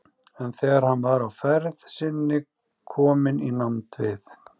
En þegar hann var á ferð sinni kominn í nánd við